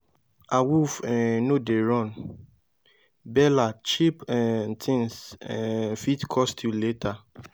awoof um no dey run bella cheep um things um fit cost you later